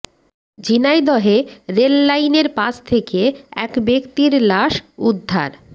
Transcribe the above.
ঝিনাইদহে rail লাইনের পাশ থেকে এক ব্যক্তির লাশ উদ্ধার